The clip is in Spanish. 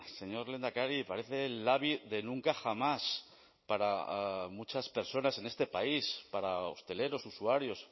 señor lehendakari parece el labi de nunca jamás para muchas personas en este país para hosteleros usuarios